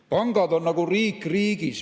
Pangad on nagu riik riigis.